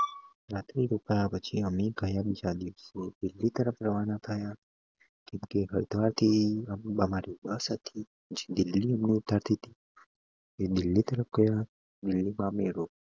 પછી અમે ગયા દિલ્લી તરફ રવાના થયા કેમ કે થી અમારી બસ હતી પછી દિલ્લી થી